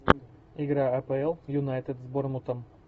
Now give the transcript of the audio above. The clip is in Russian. игра апл юнайтед с борнмутом